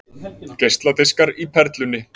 Geisladiskar í Perlunni